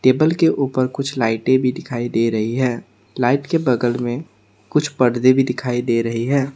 Table के उपर कुछ लाइटें भी दिखाई दे रही है लाइट के बगल में कुछ पर्दे भी दिखाई दे रही हैं।